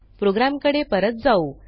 प्रोग्रॅमकडे परत जाऊ